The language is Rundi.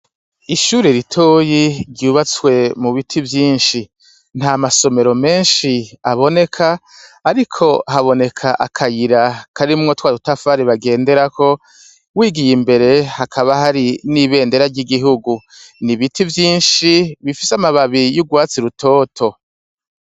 Ishure ritoyi ryubatswe mu biti vyinshi. Ntamasomero menshi aboneka ariko haboneka akayira karimwo twa dutafari bagenderako, wigiye imbere hakaba hari n'ibendera ry'igihugu. Ni ibiti vyinshi bifise amababi y'urwatsi rutoto.